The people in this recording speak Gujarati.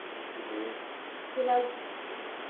હમ્મ ફિલહાલ